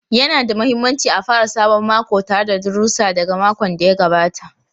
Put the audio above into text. Yana da mahimmanci a fara sabon mako tare da darussa daga makon da ya gabata.